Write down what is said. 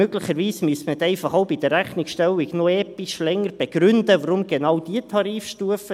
Möglicherweise müsste man dann einfach auch bei der Rechnungsstellung noch episch länger begründen, warum genau diese Tarifstufe.